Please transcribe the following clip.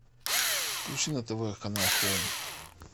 включи на тв канал хоум